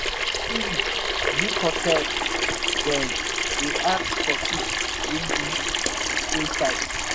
every week big hotel dem dey ask for fish wey be di same size.